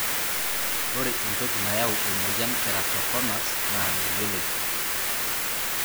ore entoki nayau emoyian keratoconus na meyioloi.